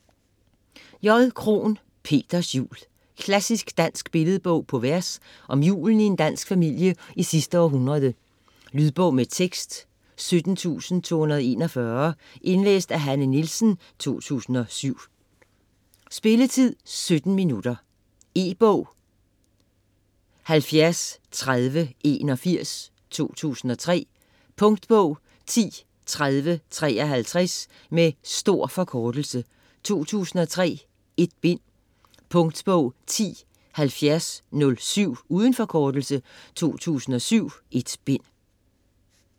Krohn, J.: Peters jul Klassisk dansk billedbog på vers om julen i en dansk familie i sidste århundrede. Lydbog med tekst 17241 Indlæst af Hanne Nielsen, 2007. Spilletid: 0 timer, 17 minutter. E-bog 703081 2003. Punktbog 103053. Med stor forkortelse. 2003. 1 bind. Punktbog 107007. Uden forkortelse. 2007.1 bind.